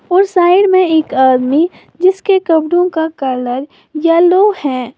और साइड में एक आदमी जिसके कमरों का कलर येलो है।